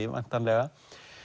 væntanlega